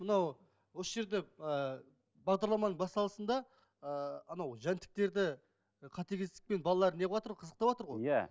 мынау осы жерде ыыы бағдарламаның басталысында ыыы анау жәндіктерді қатыгездікпен балалар неғыватыр ғой қызықтаватыр ғой иә